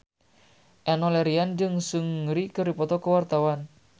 Enno Lerian jeung Seungri keur dipoto ku wartawan